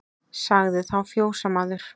Sagði þá fjósamaður